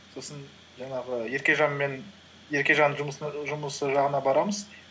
сосын жаңағы еркежанмен еркежанның жұмысы жағына барамыз